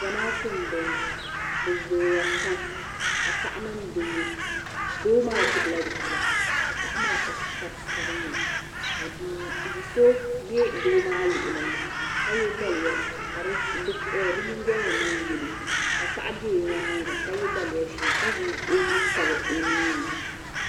Zamaatu m boŋɔ bɛ zooya pam ka paɣa mini doo doo maa gbibi la bia ka paɣa maa pa sari sabinli ka bia so be doo maa luɣuli ni ka ye daliya ka di nyingoli ni niŋ yelo paɣa be o nyaanga ka ye daliya ʒee ka zaŋ o nuu tabi o ninni.